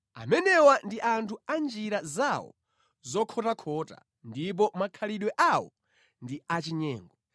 Amenewa ndi anthu a njira zawo zokhotakhota, ndipo makhalidwe awo ndi achinyengo.